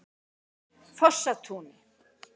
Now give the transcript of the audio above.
Fossatúni